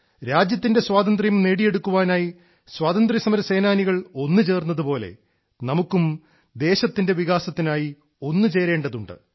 രാജ്യത്തിന്റെ സ്വാതന്ത്ര്യം നേടിയെടുക്കാനായി സ്വാതന്ത്ര്യസമരസേനാനികൾ ഒന്നുചേർന്നതുപോലെ നമുക്കും ദേശത്തിന്റെ വികാസത്തിനായി ഒന്നുചേരേണ്ടതുണ്ട്